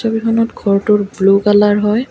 ছবিখনত ঘৰটোৰ blue colour হয়।